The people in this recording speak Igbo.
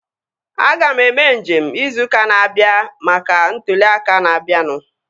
Aga m eme nje izu ụka na-abịa maka maka ntụli aka na-abianu